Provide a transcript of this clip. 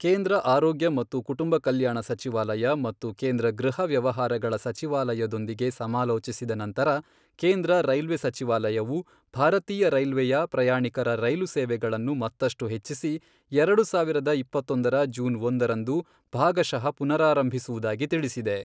ಕೇಂದ್ರ ಆರೋಗ್ಯ ಮತ್ತು ಕುಟುಂಬ ಕಲ್ಯಾಣ ಸಚಿವಾಲಯ ಮತ್ತು ಕೇಂದ್ರ ಗೃಹ ವ್ಯವಹಾರಗಳ ಸಚಿವಾಲಯಯೊಂದಿಗೆ ಸಮಾಲೋಚಿಸಿದ ನಂತರ, ಕೇಂದ್ರ ರೈಲ್ವೆ ಸಚಿವಾಲಯವು, ಭಾರತೀಯ ರೈಲ್ವೆಯ ಪ್ರಯಾಣಿಕರ ರೈಲು ಸೇವೆಗಳನ್ನು ಮತ್ತಷ್ಟು ಹೆಚ್ಚಿಸಿ, ಎರಡು ಸಾವಿರದ ಇಪ್ಪತ್ತೊಂದರ ಜೂನ್ ಒಂದರಂದು, ಭಾಗಶಃ ಪುನರಾರಂಭಿಸುವುದಾಗಿ ತಿಳಿಸಿದೆ.